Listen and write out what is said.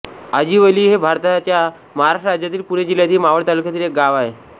आजिवली हे भारताच्या महाराष्ट्र राज्यातील पुणे जिल्ह्यातील मावळ तालुक्यातील एक गाव आहे